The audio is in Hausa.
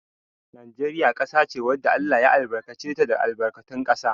Najeriya ƙasa ce wanda Allah ya albarkace ta da albarkatun ƙasa.